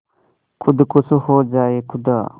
खुद खुश हो जाए खुदा